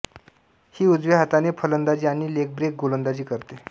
ही उजव्या हाताने फलंदाजी आणि लेगब्रेक गोलंदाजी करते